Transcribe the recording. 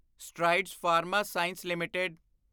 Strides Pharma Science LTD